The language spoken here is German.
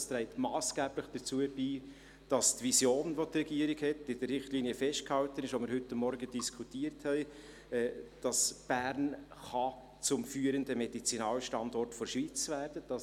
Dieses trägt massgeblich dazu bei, dass Bern gemäss der Vision der Regierung, die in den heute Morgen diskutierten Richtlinien festgehalten ist, zum führenden Medizinalstandort der Schweiz werden kann.